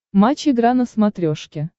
матч игра на смотрешке